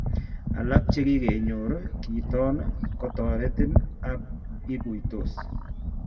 Alak chekikonyor kiiton kotoretin ako ikuuytos